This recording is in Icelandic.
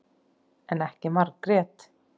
En ekki Margrét.